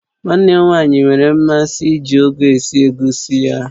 Nwa nne m nwaanyị nwere mmasị iji ugu esi egusi ya